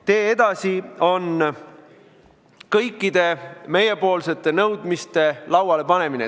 Tee edasi on kõikide meie nõudmiste laualepanemine.